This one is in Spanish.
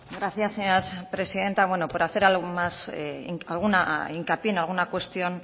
gracias señora presidenta por hacer hincapié en alguna cuestión